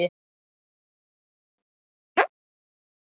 Ekki hugsa um mat!